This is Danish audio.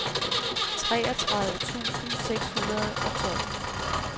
treogtredive tusind seks hundrede og tolv